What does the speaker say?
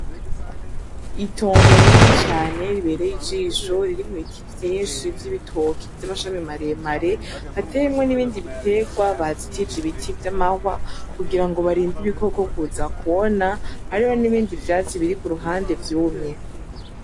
Itongo rinini cane ribereye ijisho ririmwo ibiti vyinshi vy'ibitoke vy' amashami mare mare hateyemwo n’ibindi bitegwa bazitije ibiti vy' amahwa kugira ngo barinde ibikoko kuza kwona hariho n' ibindi vyatsi biri kuruhande vyumye.